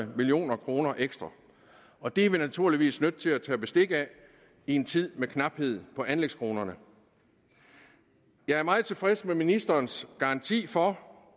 million kroner ekstra og det er vi naturligvis nødt til at tage bestik af i en tid med knaphed på anlægskronerne jeg er meget tilfreds med ministerens garanti for